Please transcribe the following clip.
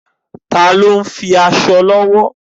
Taàní ó ń hun aṣọ lọ́wọ́?